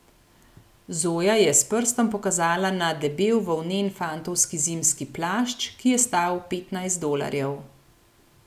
Zoja je s prstom pokazala na debel volnen fantovski zimski plašč, ki je stal petnajst dolarjev.